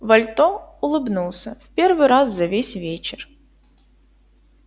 вальто улыбнулся в первый раз за весь вечер